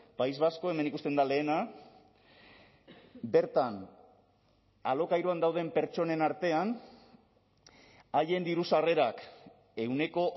país vasco hemen ikusten da lehena bertan alokairuan dauden pertsonen artean haien diru sarrerak ehuneko